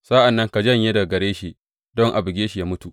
Sa’an nan ka janye daga gare shi don a buge shi yă mutu.